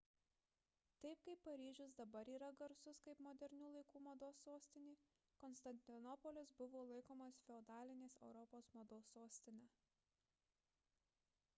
taip kaip paryžius dabar yra garsus kaip modernių laikų mados sostinė konstantinopolis buvo laikomas feodalinės europos mados sostine